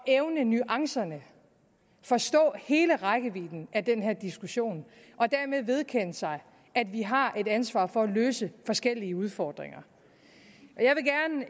evnede nuancerne forstod hele rækkevidden af den her diskussion og dermed vedkendte sig at vi har et ansvar for at løse forskellige udfordringer